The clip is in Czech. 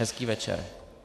Hezký večer.